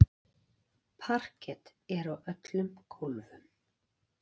Parket er á öllum gólfum.